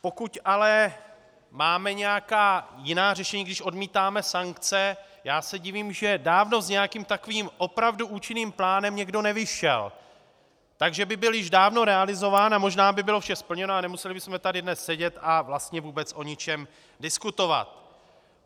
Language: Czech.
Pokud ale máme nějaká jiná řešení, když odmítáme sankce, já se divím, že dávno s nějakým takovým opravdu účinným plánem někdo nevyšel, takže by byl již dávno realizován a možná by bylo vše splněno a nemuseli bychom tady dnes sedět a vlastně vůbec o ničem diskutovat.